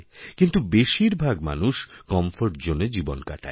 কিন্তু বেশির ভাগ মানুষ কমফোর্টজোন এই জীবন কাটায়